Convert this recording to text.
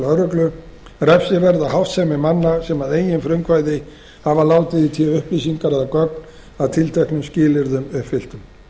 lögreglu refsiverða háttsemi manna sem að eigin frumkvæði hafa látið í té upplýsingar eða gögn að tilteknum skilyrðum uppfylltum